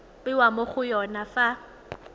bewa mo go yone fa